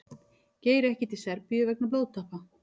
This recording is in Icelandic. Geir ekki til Serbíu vegna blóðtappa